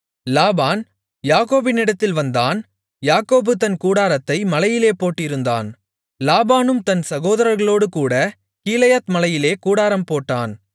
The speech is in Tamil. லாபான் யாக்கோபினிடத்தில் வந்தான் யாக்கோபு தன் கூடாரத்தை மலையிலே போட்டிருந்தான் லாபானும் தன் சகோதரர்களோடுகூடக் கீலேயாத் மலையிலே கூடாரம் போட்டான்